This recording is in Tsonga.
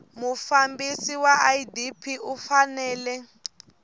mufambisi wa idp u fanele